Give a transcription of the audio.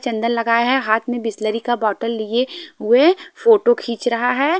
चंदन लगाया है हाथ में बिसलेरी का बॉटल लिए हुए फोटो खींच रहा है।